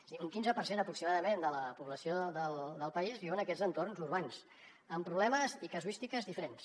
és a dir un quinze per cent aproximadament de la població del país viu en aquests entorns urbans amb problemes i casuístiques diferents